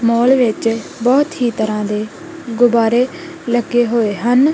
ਮਾਲ ਵਿੱਚ ਬਹੁਤ ਹੀ ਤਰਾ ਦੇ ਗੁਬਾਰੇ ਲੱਗੇ ਹੋਏ ਹਨ।